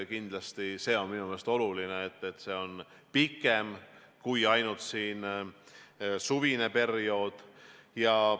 Kindlasti on see minu meelest oluline, et see kestab pikemalt, kui on ainult suvine periood.